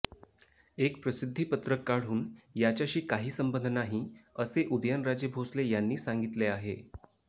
एक प्रसिध्दीपत्रक काढून याच्याशी काही संबंध नाही असे उदयनराजे भोसले यांनी सांगितले आहे